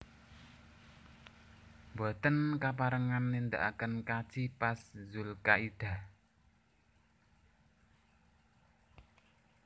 Mboten kaparengan nindaaken kaji pas zulkaidah